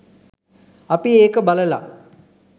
අපි ඒක බලල